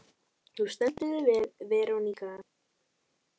Þú stendur þig vel, Verónika!